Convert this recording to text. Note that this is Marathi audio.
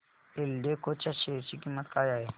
एल्डेको च्या शेअर ची किंमत काय आहे